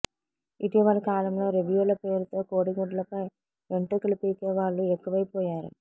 ఇటీవలి కాలంలో రివ్యూల పేరుతో కోడిగుడ్లపై వెంట్రుకలు పీకే వాళ్లు ఎక్కువైపోయారు